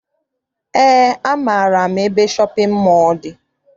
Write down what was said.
Eé, amaara m ebe shọpịn mọọ dị.